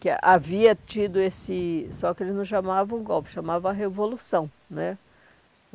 que havia tido esse... Só que eles não chamavam o golpe, chamavam a revolução né.